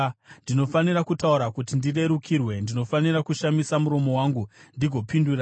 Ndinofanira kutaura kuti ndirerukirwe; ndinofanira kushamisa muromo wangu ndigopindura.